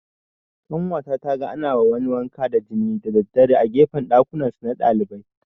Ƙanwata taga ana ma wani wanka da jini da daddare a gefen ɗakunansu na ɗalibai